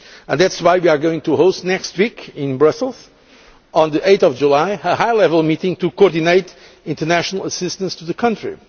That is why we are going to host next week in Brussels, on 8 July, a high level meeting to coordinate international assistance to the country.